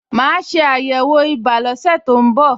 Màá ṣe àyẹ̀wò ibà lọ́sẹ̀ tó ń bọ̀